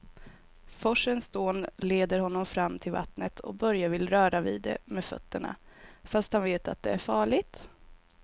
Forsens dån leder honom fram till vattnet och Börje vill röra vid det med fötterna, fast han vet att det är farligt.